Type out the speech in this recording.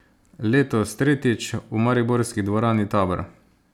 Letos, tretjič, v mariborski dvorani Tabor.